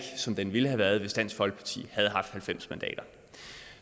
er som den ville have været hvis dansk folkeparti havde haft halvfems mandater